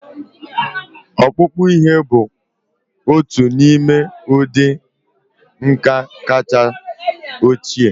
Ọkpụkpụ ihe bụ otu n'ime ụdị nka kacha ochie